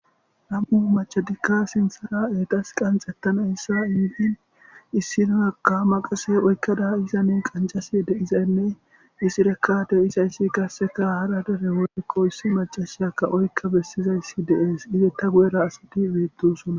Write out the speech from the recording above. nam7u machadikka sinthara eetas qanxettana yssa indin issinoyakka maqase oykkada izanin qancasi deizaynne isirekate isayssi kasseka hara dere wolkkossi macashyaka oykka bessizayssi deees izetta gu7era asadi beettusona